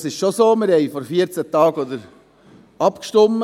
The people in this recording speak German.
Es ist schon so, dass wir vor 14 Tagen darüber abstimmten.